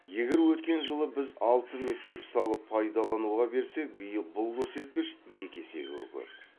егер өткен жылы біз алты мектеп салып пайдалануға берсек биыл бұл көрсеткіш екі есеге көп